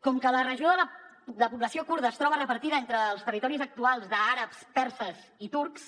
com que la regió de població kurda es troba repartida entre els territoris actuals d’àrabs perses i turcs